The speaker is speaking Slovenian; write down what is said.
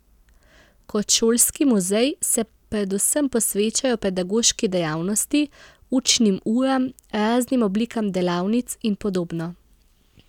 Kot šolski muzej se predvsem posvečajo pedagoški dejavnosti, učnim uram, raznim oblikam delavnic in podobno.